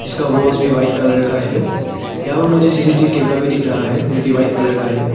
इसका वॉच भी white colour का है यहां पर मुझे सी_सी_टी_वी कैमरा भी दिख रहा है जो कि व्हाइट कलर का है।